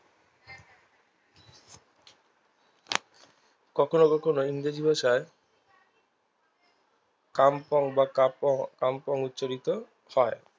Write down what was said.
কখনো কখনো ইংরেজি ভাষার ক্যামপং বা ক্যামপং উচ্চারিত হয়